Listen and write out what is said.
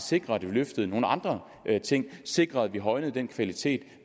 sikre at vi løftede nogle andre ting sikre at vi højnede den kvalitet